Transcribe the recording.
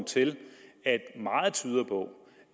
til at meget tyder på